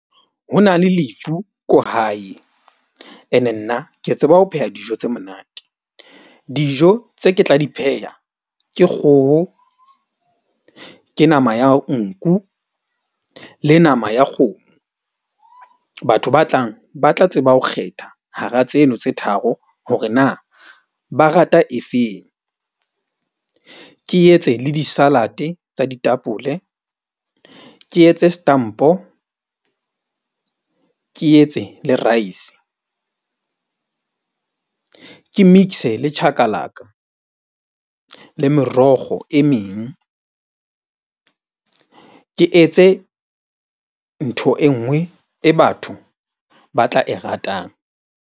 Ho na le lefu ko hae ene nna ke tseba ho pheha dijo tse monate. Dijo tse ke tla di pheha ke kgoho, ke nama ya nku le nama ya kgomo. Batho ba tlang ba tla tseba ho kgetha hara tseno tse tharo hore na ba rata efeng. Ke etse le di-salad-e tsa ditapole. Ke etse stampo ke etse le rice. Ke mix-e le chakalaka le merokgo e meng. Ke etse ntho e nngwe e batho ba tla e ratang.